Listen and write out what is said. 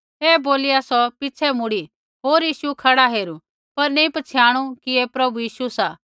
ऐ बोलिया सौ पिछ़ै मुड़ी होर यीशु खड़ा हेरू पर नैंई पछ़ियाणु कि ऐ प्रभु यीशु सा